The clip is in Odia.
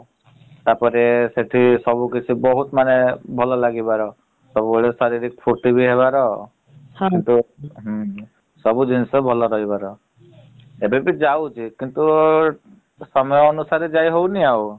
ତାପରେ ସେଠି ସବୁ କିଛି ବହୁତ୍ ମାନେ ଭଲ ଲାଗିବାର ସବୁବେଳେ ହେବାର । ହୁଁ ହୁଁ ସବୁ ଜିନିଷ ଭଲ ରହିବାର । ଏବେବି ଯାଉଚି କିନ୍ତୁ ସମୟ ଅନୁସାରେ ଯାଇ ହଉନି ଆଉ ।